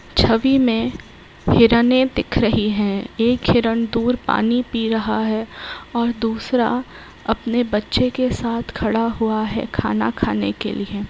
छवि में हिरने दिख रही है। एक हिरन दूर पानी पी रहा है और दूसरा अपने बच्चों के साथ खड़ा हुआ है खाना खाने के लिए।